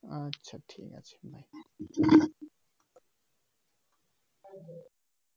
আচ্ছা ঠিক আছে